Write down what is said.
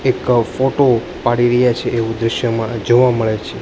એક ફોટો પાડી રહ્યા છે એવું દ્રશ્યમાં જોવા મળે છે.